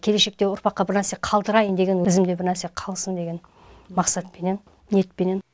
келешекте ұрпаққа бір нәрсе қалдырайын деген ізімде бірнәрсе қалсын деген мақсатпенен ниетпенен